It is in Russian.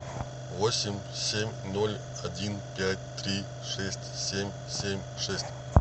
восемь семь ноль один пять три шесть семь семь шесть